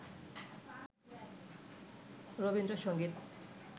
Rabindra Sangeet